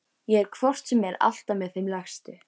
Ég er hvort sem er alltaf með þeim lægstu.